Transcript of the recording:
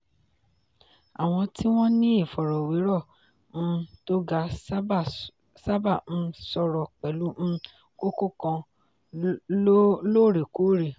àwọn tí wọ́n ní ìfọ̀rọ̀wérọ̀ um tó ga sábà um sọ̀rọ̀ pẹ̀lú um kókó kan lóòrèkóòrè.